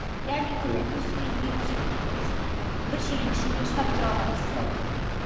яғни оның плюсы мен минусын біз бір шегім ішінде ұстап тұра аламыз аха